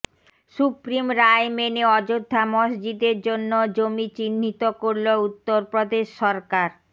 supreme রায় মেনে অযোধ্যা মসজিদের জন্য জমি চিহ্নিত করল উত্তরপ্রদেশ সরকার